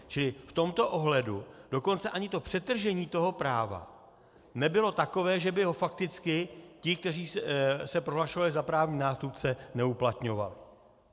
Čili v tomto ohledu dokonce ani to přetržení toho práva nebylo takové, že by ho fakticky ti, kteří se prohlašovali za právní nástupce, neuplatňovali.